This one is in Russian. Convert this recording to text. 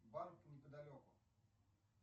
банк неподалеку